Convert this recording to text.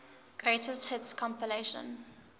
greatest hits compilation